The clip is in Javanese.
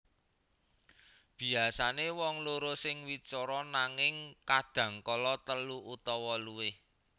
Biasané wong loro sing wicara nanging kadhangkala telu utawa luwih